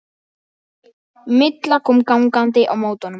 Milla kom gangandi á móti honum.